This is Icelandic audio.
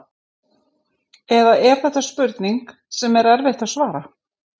Eða er þetta spurning sem er erfitt að svara?